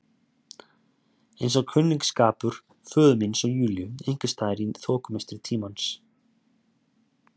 Eins og kunningsskapur föður míns og Júlíu einhvers staðar í þokumistri tímans.